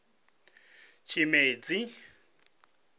tshimedzi